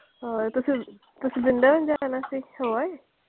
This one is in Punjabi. ਹੋਰ, ਹੋਰ ਤੁਸੀਂ ਵ੍ਰਿੰਦਾਵਨ ਜਾਣਾ ਸੀ ਹੋ ਆਏ?